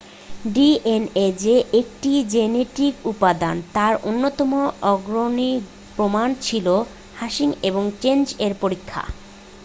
DNA যে 1টি genetic উপাদান তার অন্যতম অগ্রণী প্রমাণ ছিল হার্শি এবং চেজ এর পরীক্ষা